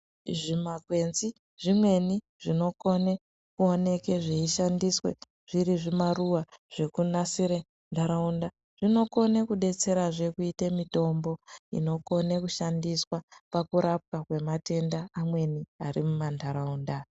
Zvimakwenzi zvimweni zvinokone kuoneke zveishandiswa zviri zvimaruwa zvekunasire ntaraunda, zvinokone kudetserazve kuite mitombo inokone kushandiswa pakurapwa kwematenda amweni ari mumantaraunda.